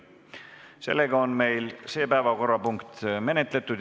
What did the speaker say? Seega on see päevakorrapunkt menetletud.